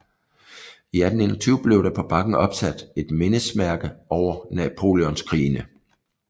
I 1821 blev der på bakken opsat et mindesmærke over Napoleonskrigene